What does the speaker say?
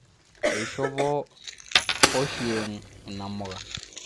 ishopo Ochieng inamuka